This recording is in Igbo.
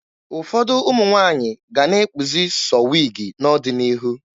Ụfọdụ ụmụ nwaanyị ga-ana ekpuzi sọọ wiigi n'ọdịnihu.